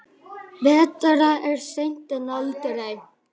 Betra er seint en aldrei.